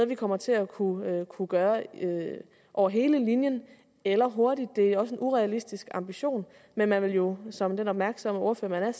vi kommer til at kunne kunne gøre over hele linjen eller hurtigt det er også en urealistisk ambition men man vil jo som den opmærksomme ordfører man er